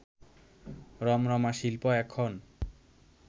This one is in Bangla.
রমরমা শিল্প এখন